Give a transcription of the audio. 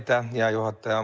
Aitäh, hea juhataja!